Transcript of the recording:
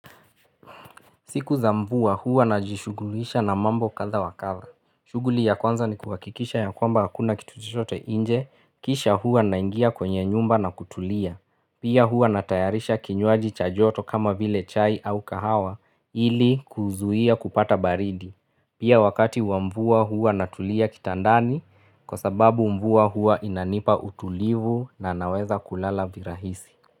Siku za mvua huwa najishugulisha na mambo kadha wa kadha. Shughuli ya kwanza ni kuwakikisha ya kwamba hakuna kitu chochote inje, kisha huwa naingia kwenye nyumba na kutulia. Pia hua natayarisha kinywaji cha joto kama vile chai au kahawa ili kuzuia kupata baridi. Pia wakati wa mvua huwa natulia kitandani kwa sababu mvua huwa inanipa utulivu na naweza kulala virahisi.